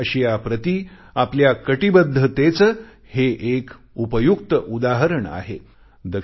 दक्षिण अशियाप्रती आपल्या कटिबद्धतेचे हे एक उपयुक्त उदाहरण आहे